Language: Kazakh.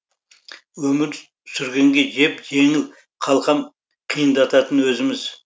өмір сүргенге жеп жеңіл қалқам қиындататын өзіміз